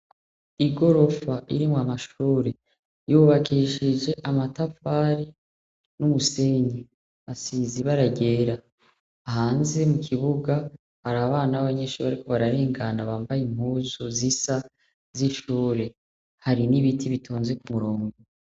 Igorofa irimwo amashure yubakishije amatafari n'umusenyi asize ibara ryera hanze mu kibuga hari abana b'abanyeshure bariko bararengana bambaye impuzu zisa z'ishure hari n'ibiti bitonze ku murongo.